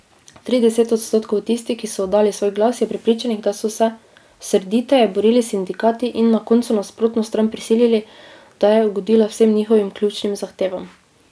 Trideset odstotkov tistih, ki so oddali svoj glas, je prepričanih, da so se srditeje borili sindikati in na koncu nasprotno stran prisilili, da je ugodila vsem njihovim ključnim zahtevam.